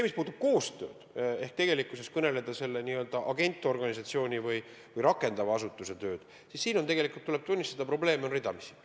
Mis puudutab koostööd ehk tegelikkuses selle n-ö agentorganisatsiooni või projekti rakendava asutuse tööd, siis siin on, tuleb tunnistada, probleeme ridamisi.